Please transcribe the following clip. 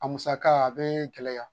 A musaka a be gɛlɛya.